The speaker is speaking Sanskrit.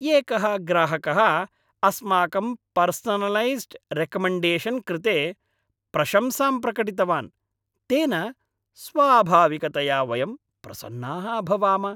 एकः ग्राहकः अस्माकं पर्सनलैस्ड् रेकमेण्डेशन् कृते प्रशंसां प्रकटितवान्, तेन स्वाभाविकतया वयं प्रसन्नाः अभवाम।